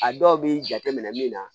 A dɔw b'i jate minɛ min na